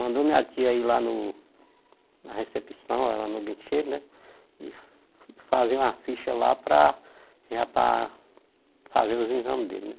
Mandou minha tia ir lá no na recepção, lá no guichê, né, e fazer uma ficha lá para, já para fazer os exames dele, né.